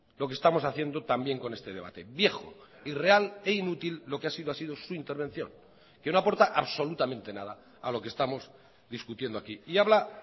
lo que estamos haciendo también con este debate viejo irreal e inútil lo que ha sido ha sido su intervención que no aporta absolutamente nada a lo que estamos discutiendo aquí y habla